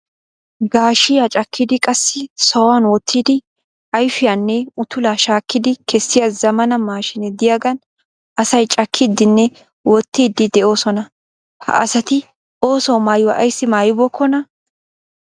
Gaashiya cakkidi qassi sohan wottidi ayifiyanne utulaa shaakkidi kessiya zammaana maashiinee diyagan asay cakkiiddinne wottiidi de'oosona. Ha asati ooso maayuwa ayssi maayibookonaa?